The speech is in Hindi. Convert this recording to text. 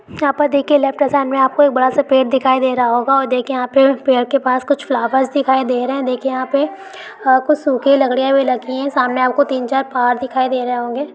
यहां पे देखिए लेफ्ट हैंड साइड में आपको एक बडा-सा पेड़ दिखाई दे रहा होगा। और देखिए यहां पे पेड़ के पास कुछ फ्लावर्स दिखाई दे रहे हैं। देखिए यहां पे कुछ सुखी हुई लकड़ियां भी लगी है। सामने आपको तीन चार पहाड़ दिखाई दे रहे होंगे।